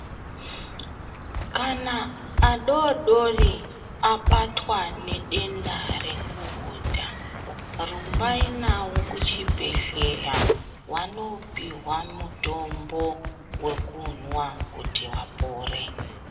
Kana adodori abatwa ne denda rekuhudha rumbai nawo kuchi bhehleya wano pihwa mutombo wekunwa kuti vapore .